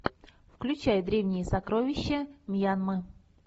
включай древние сокровища мьянмы